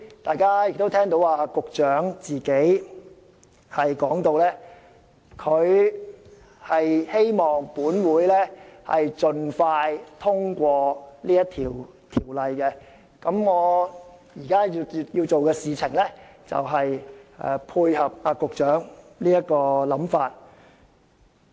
"大家剛才亦聽到局長表示希望立法會盡快通過《條例草案》，我現在所做的正正配合局長的想法。